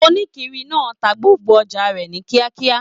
Onikiri náà tá gbogbo ọjà rẹ ni kíákíá.